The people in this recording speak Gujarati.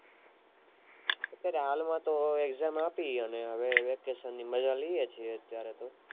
અત્યારે હાલ માતો exam આપી અને હવે vacation ની મજા લિયે છીએ અત્યારે તો